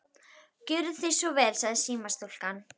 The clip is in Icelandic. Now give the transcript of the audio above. Gjörið þið svo vel, sagði símastúlkan.